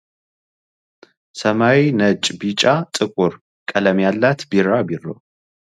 ሰማያዊ ፣ነጭ ፣ቢጫ፣ ጥቁር ቀለም ያላት ቢራቢሮ